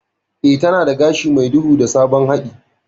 Eh, tana da gashi mai duhu da sabon haɗi.